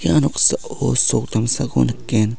ia noksao sok damsako nikgen.